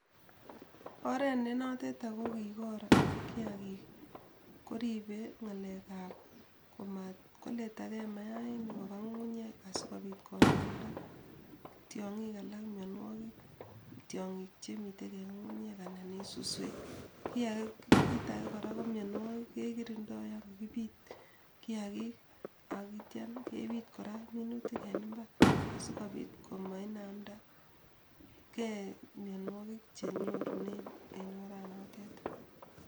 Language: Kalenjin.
Oret nenoteton kokikor kiakik koribei ng'alekab komatkoletakei mainik koba ng'ung'unyek asikobit konaamda tiong'ik alak myenwokik tyong'ik chemi ng'ung'unyek anan ko suswek Kita age keribei kiakik ak bitet ab kerichek